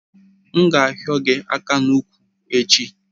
M ga ahio ya aka n'úkwù echi?